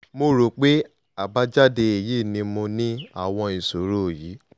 mo rò pé àbájáde èyí ni mo ní àwọn ìṣòro yìí